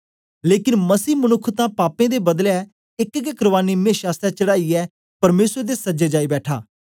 लेकन मसीह मनुक्ख तां पापें दे बदले एक गै कुर्बानी मेशा आसतै चढ़ाईयै परमेसर दे सज्जे जाई बैठा